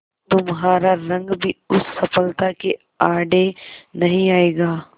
तुम्हारा रंग भी उस सफलता के आड़े नहीं आएगा